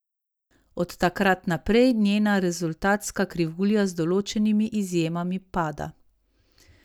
Od takrat naprej njena rezultatska krivulja z določenimi izjemami pada.